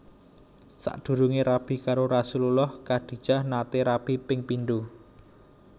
Sakdurunge rabi karo Rasulullah Khadijah nate rabi ping pindho